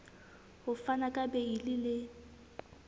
ho fana ka beile le